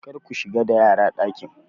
Kar ku shiga da yara dakin!